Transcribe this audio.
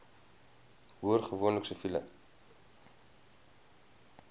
hoor gewoonlik siviele